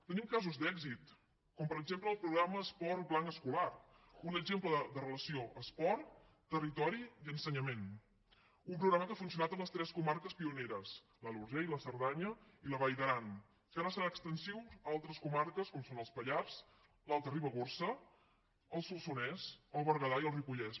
tenim casos d’èxit com per exemple el programa esport blanc escolar un exemple de relació entre esport territori i ensenyament un programa que ha funcionat en les tres comarques pioneres l’alt urgell la cerdanya i la vall d’aran que ara serà extensiu a altres comarques com són els pallars l’alta ribagorça el solsonès el berguedà i el ripollès